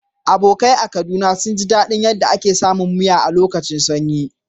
Abokai a Kaduna sun ji dadin yadda ake samun miya a lokacin sanyi.